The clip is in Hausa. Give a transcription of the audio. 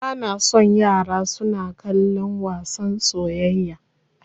Bana son yaran suna kallon wasan soyayya.